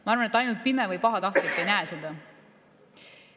Ma arvan, et ainult pime või pahatahtlik ei näe seda.